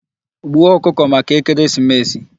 Gbuo ọkụkọ maka ekeresimesi!